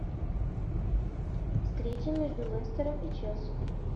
встреча между лестером и челси